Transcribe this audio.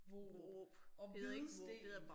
Vorup og Hvidsten